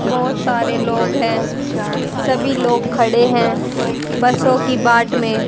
बहोत सारे लोग है सभी लोग खड़े हैं बसों की बाट में--